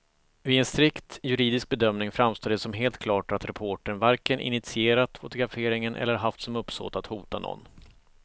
Vid en strikt juridisk bedömning framstår det som helt klart att reportern varken initierat fotograferingen eller haft som uppsåt att hota någon.